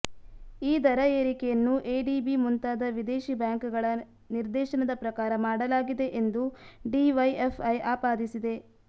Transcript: ಈ ದರ ಏರಿಕೆಯನ್ನು ಎಡಿಬಿ ಮುಂತಾದ ವಿದೇಶಿ ಬ್ಯಾಂಕ್ ಗಳ ನಿರ್ದೇಶನದ ಪ್ರಕಾರ ಮಾಡಲಾಗಿದೆ ಎಂದು ಡಿವೈಎಫ್ಐ ಆಪಾದಿಸಿದೆ